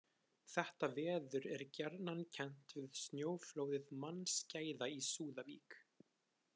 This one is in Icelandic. Þetta veður er gjarnan kennt við snjóflóðið mannskæða í Súðavík.